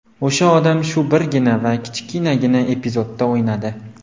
O‘sha odam shu birgina va kichkinagina epizodda o‘ynadi.